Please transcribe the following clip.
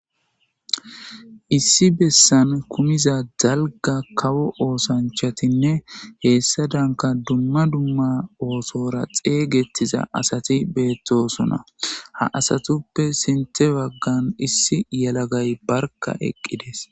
issi bessan kumiza dalga kawo oosanchatinne heessa danka dumma dumma oosora xeeygettiza asati beettosona ha asatuppe sinthe waggan issi yalagay barka eqqides